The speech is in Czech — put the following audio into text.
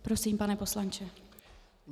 Prosím, pane poslanče.